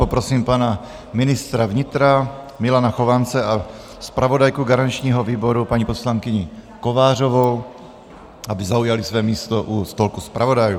Poprosím pana ministra vnitra Milana Chovance a zpravodajku garančního výboru paní poslankyni Kovářovou, aby zaujali své místo u stolku zpravodajů.